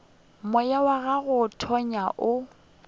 moya wa go tonya o